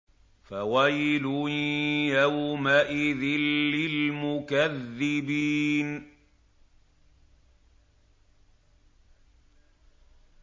فَوَيْلٌ يَوْمَئِذٍ لِّلْمُكَذِّبِينَ